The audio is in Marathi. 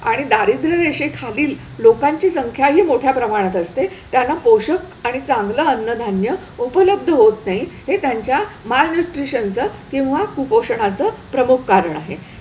आणि दारिद्र्य रेषेखालील लोकांची संख्याही मोठ्या प्रमाणात असते त्यांना पोषक आणि चांगलं अन्नधान्य उपलब्ध होत नाही हे त्यांच्या मालन्यूट्रीशनचं किंवा कुपोषणाचं प्रमुख कारण आहे.